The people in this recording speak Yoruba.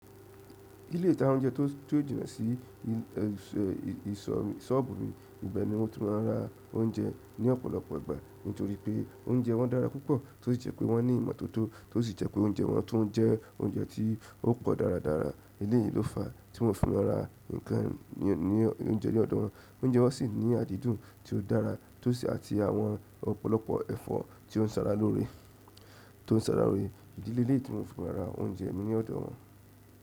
Ilé ìta oúnjẹ tó, ti ó jìnà sí sóọ̀bù mi, ibẹ̀ ni mo ti máa ń ra oúnjẹ ní ọ̀pọ̀lọpọ̀ ìgbà nítorí pé oúnjẹ wọn dára púpọ̀, tó sì jẹ́ pé wọ́n ní ìmọ́tótó, tó sì jẹ́ pé oúnjẹ wọn tún jẹ́ oúnjẹ tí ó pọ̀ dáradára. Eléyìí ló fàá tí mo fi máa ń ra nǹkan oúnjẹ ní ọ̀dòwọn. Oúnjẹ wọn sì ní àdídùn tí ó dárá àti àwọn ọ̀pọ̀lọpọ̀ ẹ̀fọ́ tí ó ń se ara lóore t'ó ń se ara lóore. Ìdí leléyìí tí mo fi ma ra oúnjẹ ni òdò wọn.